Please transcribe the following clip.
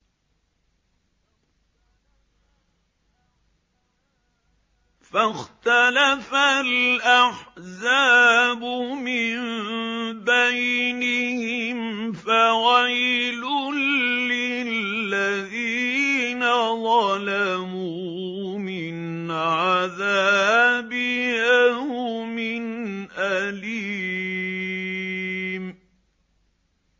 فَاخْتَلَفَ الْأَحْزَابُ مِن بَيْنِهِمْ ۖ فَوَيْلٌ لِّلَّذِينَ ظَلَمُوا مِنْ عَذَابِ يَوْمٍ أَلِيمٍ